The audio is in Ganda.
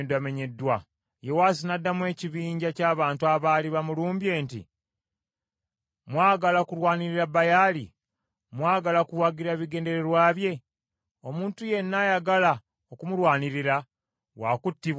Okuva ku olwo Gidyoni ne bamukazaako erya Yerubbaali ekitegeeza nti, “Baali amulwanyise.” Kubanga yamenyaamenya ekyoto kya Baali.